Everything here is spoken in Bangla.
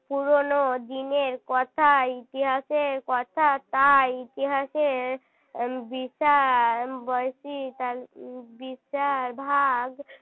পুরনো দিনের কথা ইতিহাসের কথা তাই ইতিহাসের . বলছি তাহলে বিচার ভাগ